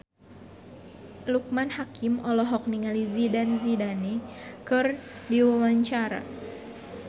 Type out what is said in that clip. Loekman Hakim olohok ningali Zidane Zidane keur diwawancara